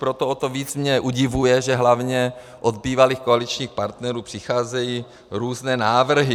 Proto o to víc mě udivuje, že hlavně od bývalých koaličních partnerů přicházejí různé návrhy.